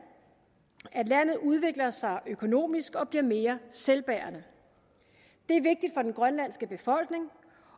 at landet udvikler sig økonomisk og bliver mere selvbærende det er vigtigt for den grønlandske befolkning